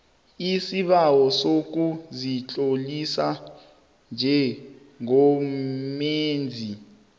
isibawo sokuzitlolisa njengomenzi